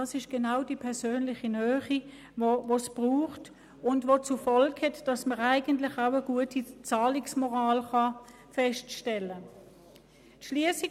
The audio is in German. Das ist genau die persönliche Nähe, die es braucht und die zur Folge hat, dass man eigentlich auch eine gute Zahlungsmoral feststellen kann.